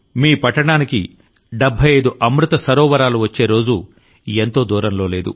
మీ పట్టణానికి 75 అమృత సరోవరాలు వచ్చే రోజు ఎంతో దూరంలో లేదు